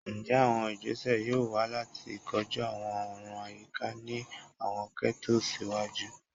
Njẹ awọn igbese yoo wa lati koju awọn ọran ayika ni awọn ghettos iwaju?